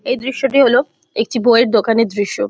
এই দৃশ্যটি হলো একটি বইয়ের দোকানের দৃশ্য।